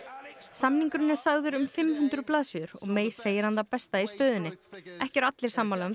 samningurinn er sagður um fimm hundruð blaðsíður og May segir hann það besta í stöðunni ekki eru allir sammála um